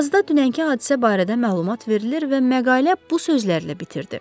Yazıda dünənki hadisə barədə məlumat verilir və məqalə bu sözlərlə bitirdi: